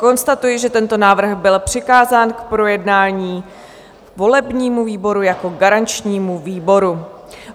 Konstatuji, že tento návrh byl přikázán k projednání volebnímu výboru jako garančnímu výboru.